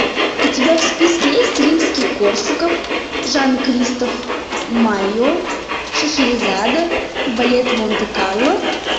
у тебя в списке есть римский корсаков жан кристоф майо шахерезада балет монте карло